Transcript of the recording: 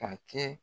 Ka kɛ